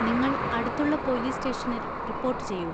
നിങ്ങൾ അടുത്തുള്ള പോലീസ് സ്റ്റേഷനിൽ റിപ്പോർട്ട് ചെയ്യൂ.